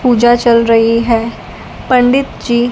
पूजा चल रही है पंडित जी--